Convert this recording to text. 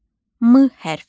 M hərfi.